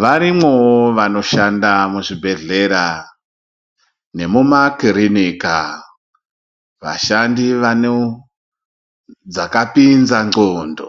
Varimowo vanishanfa muzvibhedhlera, nemumakirinika. Vashandi vanedzakapinza dxondo.